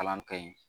Kalan kɛ yen